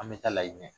An bɛ taa layini ɲɛ